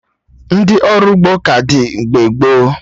Ndị ọrụ ugbo ka dị mgbe gboo